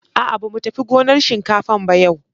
A'a, ba mu tafi gonar shinkafan ba yau.